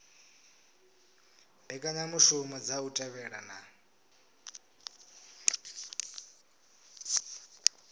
mbekanyamushumo dza u thivhela na